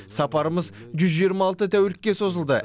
сапарымыз жүз жиырма алты тәулікке созылды